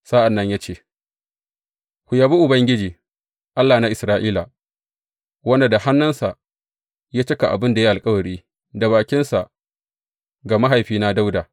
Sa’an nan ya ce, Ku yabi Ubangiji, Allah na Isra’ila, wanda da hannunsa ya cika abin da ya yi alkawari da bakinsa ga mahaifina Dawuda.